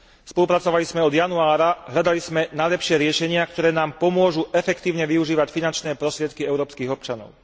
spolupracovali sme od januára, hľadali sme najlepšie riešenia, ktoré nám pomôžu efektívne využívať finančné prostriedky európskych občanov.